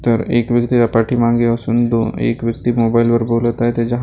तर एक व्यक्ती त्याच्या पाठीमागे बसून दो एक व्यक्ती मोबाईलवर बोलत आहे त्याच्या --